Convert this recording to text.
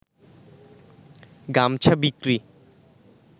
গামছা বিক্রি